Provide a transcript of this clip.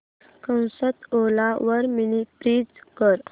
ओला वर mini fridge शोध